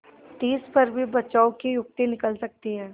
तिस पर भी बचाव की युक्ति निकल सकती है